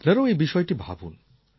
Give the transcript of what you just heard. আপনারাও এই বিষয়টি ভাবুন